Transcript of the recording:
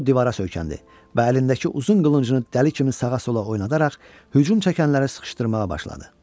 O divara söykəndi və əlindəki uzun qılıncını dəli kimi sağa-sola oynadaraq hücum çəkənləri sıxışdırmağa başladı.